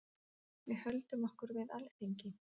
Við höldum okkur við Alþingi.